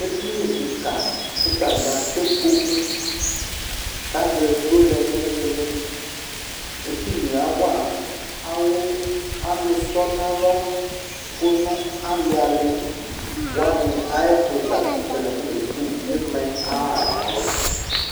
Edini kika kʋ atani atɛ ikpoku, k'ayɔ edigbo lɛ n'iili iili Edini yɛ awa awʋ ɔlʋtɔnalɔ kʋ ali ali wani ay'ɛfʋ za kʋ atani afɔnebu ima yɛ ayʋ ahanalɔ